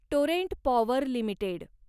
Torrent Power limited